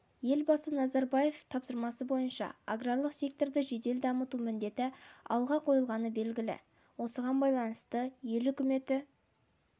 елбасы назарбаевтың тапсырмасы бойынша аграрлық секторды жедел дамыту міндеті алға қойылғаны белгілі осыған байланысты ел үкіметі